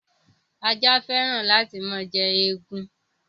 Ajá féràn láti máa jẹ egun.